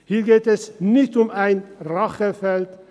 Hier geht es nicht um einen Rachefeldzug.